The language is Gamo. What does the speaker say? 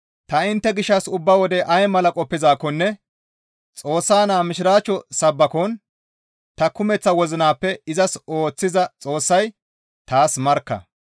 Ta intte gishshas ubba wode ay mala qoppizaakkonne Xoossa naa mishiraachcho sabbakon ta kumeththa wozinappe izas ooththiza Xoossay taas markka.